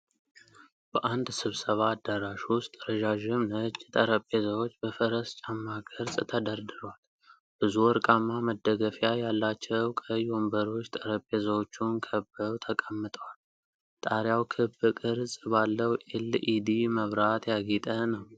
በአንድ ስብሰባ አዳራሽ ውስጥ ረዣዥም ነጭ ጠረጴዛዎች በፈረስ ጫማ ቅርፅ ተደርድረዋል። ብዙ ወርቃማ መደገፊያ ያላቸው ቀይ ወንበሮች ጠረጴዛዎቹን ከበው ተቀምጠዋል፤ ጣሪያው ክብ ቅርጽ ባለው የኤልኢዲ መብራት ያጌጠ ነው።